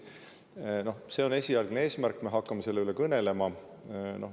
See on esialgne eesmärk, me hakkame selle üle kõnelema.